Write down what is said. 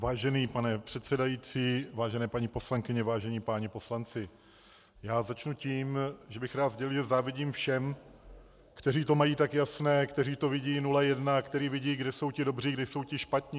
Vážený pane předsedající, vážené paní poslankyně, vážení páni poslanci, já začnu tím, že bych rád sdělil, že závidím všem, kteří to mají tak jasné, kteří to vidí 0:1, kteří vidí, kde jsou ti dobří, kde jsou ti špatní.